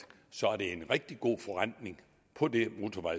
er en rigtig god forrentning på det